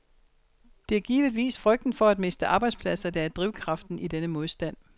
Det er givetvis frygten for at miste arbejdspladser, der er drivkraften i denne modstand.